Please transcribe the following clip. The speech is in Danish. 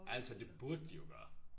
Ærligt talt det burde de jo gøre